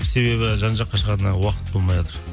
себебі жан жаққа шығатын уақыт болмайатыр